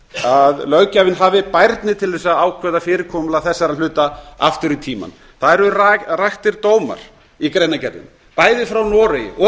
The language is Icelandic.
að löggjafinn hafi bærni til þess að ákveða fyrirkomulag þessara hluta aftur í tímann það eru raktir dómar í greinargerðinni bæði frá noregi og